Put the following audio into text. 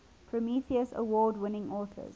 prometheus award winning authors